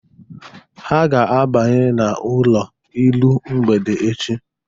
Ha ga-abanye n'ụlọ iru mgbede echi.